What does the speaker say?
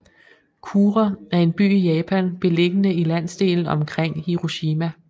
Kure er en by i Japan beliggende i landsdelen omkring Hiroshima